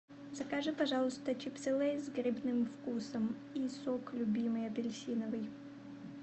закажи пожалуйста чипсы лейс с грибным вкусом и сок любимый апельсиновый